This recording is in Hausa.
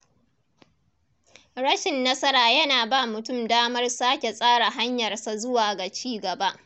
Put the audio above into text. Rashin nasara yana ba mutum damar sake tsara hanyarsa zuwa ga ci gaba.